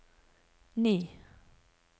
ni